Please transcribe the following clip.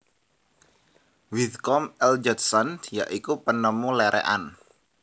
Whitcomb L Judson ya iku penemu lerekan